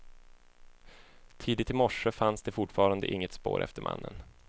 Tidigt i morse fanns det fortfarande inget spår efter mannen.